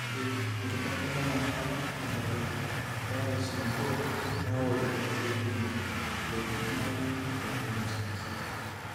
Ore inkibelekenyat tentalipa eRSnabo keyau irkesii kumok lejuvenile retinoschisis.